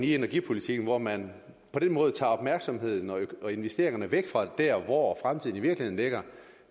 i energipolitikken når man på den måde tager opmærksomheden og investeringerne væk fra der hvor fremtiden i virkeligheden ligger